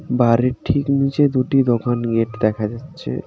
বাড়ির ঠিক নীচের দুটি দোকান গেট দেখা যাচ্ছে।